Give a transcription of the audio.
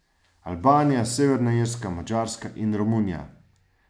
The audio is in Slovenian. Albanija, Severna Irska, Madžarska in Romunija.